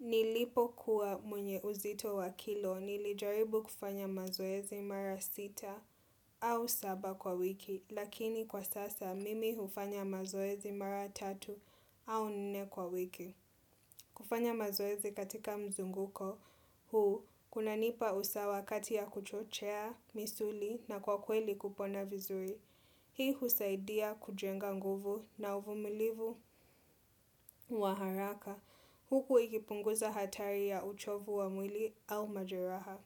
Nilipokuwa mwenye uzito wa kilo nilijaribu kufanya mazoezi mara sita au saba kwa wiki, lakini kwa sasa mimi hufanya mazoezi mara tatu au nne kwa wiki. Kufanya mazoezi katika mzunguko huu, kunanipa usawa kati ya kuchochea, misuli na kwa kweli kupona vizuri. Hii husaidia kujenga nguvu na uvumilivu wa haraka. Huku ikipunguza hatari ya uchovu wa mwili au majeraha.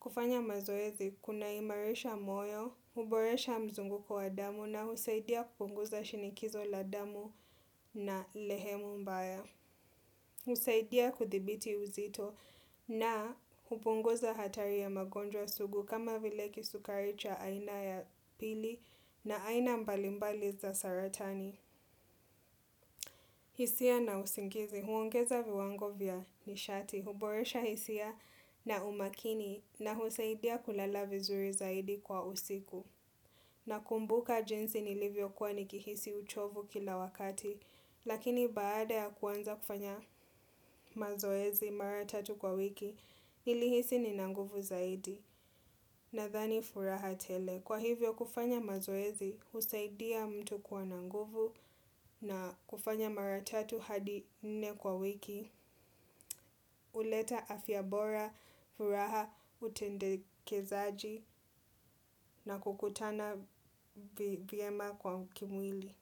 Kufanya mazoezi, kunaimarisha moyo, huboresha mzunguko wa damu na husaidia kupunguza shinikizo la damu na lehemu mbaya. Husaidia kuthibiti uzito na hupunguza hatari ya magonjwa sugu kama vile kisukari cha aina ya pili na aina mbalimbali za saratani. Hisia na usingizi, huongeza viwango vya nishati, huboresha hisia na umakini na husaidia kulala vizuri zaidi kwa usiku. Nakumbuka jinsi nilivyokuwa nikihisi uchovu kila wakati, lakini baada ya kuanza kufanya mazoezi mara tatu kwa wiki, nilihisi nina nguvu zaidi. Nadhani furaha tele. Kwa hivyo kufanya mazoezi husaidia mtu kuwa na nguvu na kufanya mara tatu hadi nne kwa wiki. Huleta afyavbora, furaha, utendekezaji na kukutana vyema kwa kimwili.